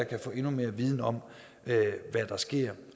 kan få endnu mere viden om hvad der sker